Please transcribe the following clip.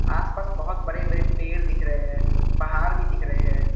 आसपास बहुत बड़े बड़े पेड़ दिख रहे हैं पहाड़ भी दिख रहे हैं।